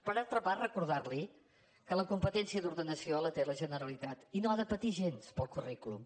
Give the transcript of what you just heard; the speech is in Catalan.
per altra part recordar li que la competència d’ordenació la té la generalitat i no ha de patir gens pel currículum